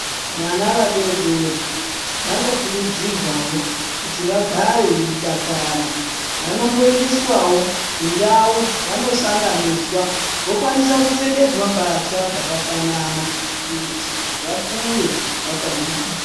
Vana vadodori vanokurudzirwa kuti Vangebveidakara vanoendeswawwo vokwanisa kupfekedzwa mbatya dzakafana kuti vakure vakangwara.